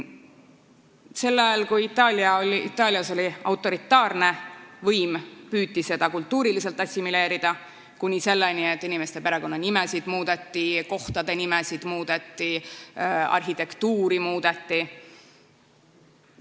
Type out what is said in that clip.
Sel ajal, kui Itaalias oli autoritaarne võim, püüti seda piirkonda kultuuriliselt assimileerida, kuni selleni, et inimeste perekonnanimesid muudeti, kohtade nimesid muudeti, arhitektuuri muudeti.